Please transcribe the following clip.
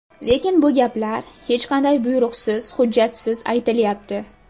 Lekin bu gaplar hech qanday buyruqsiz, hujjatsiz aytilyapti.